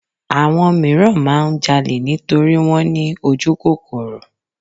Àwọn míràn máà ń jalè nítorí wọ́n ní ojúkòkòrò.